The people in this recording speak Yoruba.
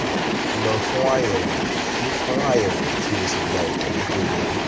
lọ fún àyẹ̀wò kí fún àyẹ̀wò kí o sì gba ìtọ́jú tó yẹ